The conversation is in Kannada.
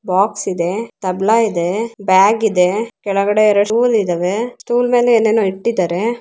ಬಾಕ್ಸ್ ಇದೆ ತಬಲಾ ಇದೆ ಬ್ಯಾಗ್ ಇದೆ ಕೆಳಗಡೆ ಎರಡು ಸ್ಟೂಲ್ ಇದಾವೆ ಸ್ಟೂಲ್ ಮೇಲೆ ಏನೇನೋ ಇಟ್ಟಿದ್ದಾರೆ.